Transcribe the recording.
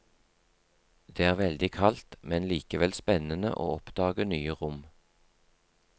Det er veldig kaldt, men likevel spennende å oppdage nye rom.